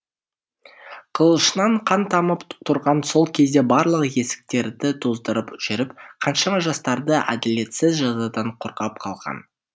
қылышынан қан тамып тұрған сол кезде барлық есіктерді тоздырып жүріп қаншама жастарды әділетсіз жазадан қорғап қалған